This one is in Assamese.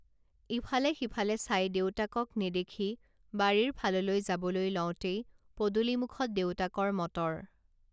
ইফালে সিফালে চাই দেউতাকক নেদেখি বাৰীৰ ফাললৈ যাবলৈ লওঁতেই পদূলিমূখত দেউতাকৰ মটৰ